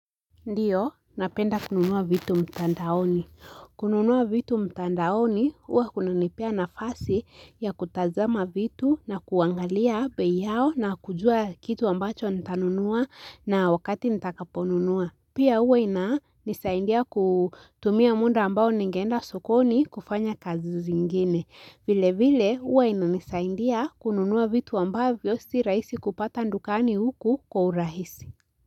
Ndio, napenda kununua vitu mtandaoni. Kununua vitu mtandaoni, huwa kunanipea nafasi ya kutazama vitu na kuangalia bei yao na kujua kitu ambacho nitanunua na wakati nitakaponunua. Pia huwa inanisaidia kutumia muda ambao ningeenda sokoni kufanya kazi zingine. Vilevile huwa inanisaidia kununua vitu ambavyo si rahisi kupata dukani huku kwa urahisi.